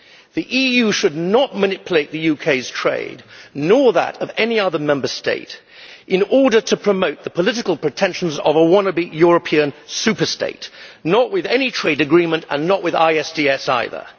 The EU should not manipulate the UK's trade, nor that of any other Member State, in order to promote the political pretensions of a wannabe European superstate, not with any trade agreement and not with ISDS either.